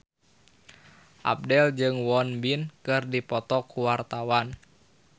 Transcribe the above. Abdel jeung Won Bin keur dipoto ku wartawan